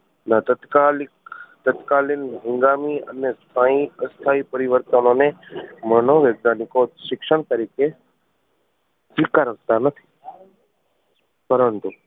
ના તત્કાલીક તત્કાલીન અને સ્થાયી અસ્થાયી પરિવર્તનનોને મનોવિજ્ઞાનિકો શિક્ષણ તરીકે સ્વીકારતા નથી પરંતુ